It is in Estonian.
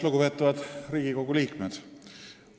Lugupeetavad Riigikogu liikmed!